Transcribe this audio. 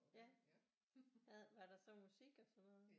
Var der så musik og sådan noget